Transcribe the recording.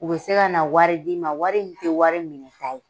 U bɛ se ka na wari d'i ma wari min tɛ wari minɛta ye